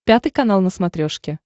пятый канал на смотрешке